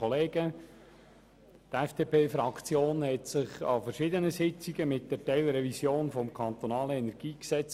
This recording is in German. Die FDP-Fraktion hat sich in verschiedenen Sitzungen mit der Teilrevision des KEnG beschäftigt.